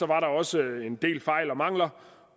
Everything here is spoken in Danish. der også en del fejl og mangler